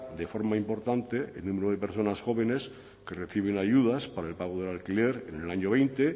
de forma importante el número de personas jóvenes que reciben ayudas para el pago del alquiler en el año veinte